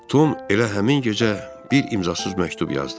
Tom elə həmin gecə bir imzasız məktub yazdı.